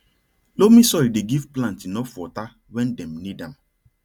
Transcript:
loamy soil dey give plant enough water when dem need am